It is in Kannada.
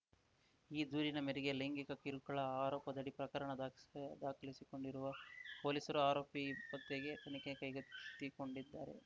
ಈ ದೂರಿನ ಮೇರೆಗೆ ಲೈಂಗಿಕ ಕಿರುಕುಳ ಆರೋಪದಡಿ ಪ್ರಕರಣ ದಾಕ್ಸ್ ದಾಖಲಿಸಿಕೊಂಡಿರುವ ಪೊಲೀಸರು ಆರೋಪಿ ಪತ್ತೆಗೆ ತನಿಖೆ ಕೈಗೆತ್ತಿಕೊಂಡಿದ್ದಾರೆ